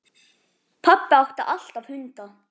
Pabbi átti alltaf hunda.